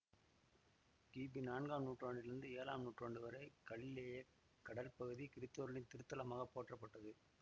கிபி நான்காம் நூற்றாண்டிலிருந்து ஏழாம் நூற்றாண்டுவரை கலிலேயக் கடல் பகுதி கிறித்தவர்களின் திருத்தலமாகப் போற்றப்பட்டது